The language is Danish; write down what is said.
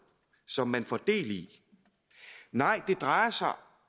som man får del i nej det drejer sig